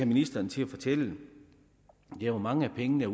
ministeren til at fortælle er hvor mange af pengene